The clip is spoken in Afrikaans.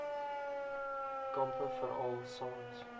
kampe veral saans